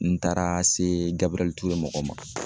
N taara se Gabrɛl Ture mɔgɔw ma